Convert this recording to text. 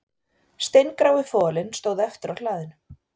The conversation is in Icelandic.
Steingrái folinn stóð eftir á hlaðinu